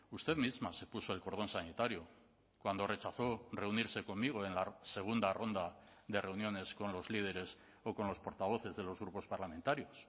usted misma se puso el cordón sanitario cuando rechazó reunirse conmigo en la segunda ronda de reuniones con los líderes o con los portavoces de los grupos parlamentarios